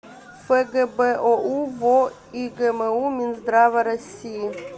фгбоу во игму минздрава россии